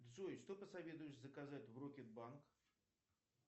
джой что посоветуешь заказать в рокет банк